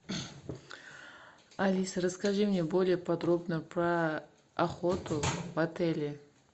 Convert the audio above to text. алиса расскажи мне более подробно про охоту в отеле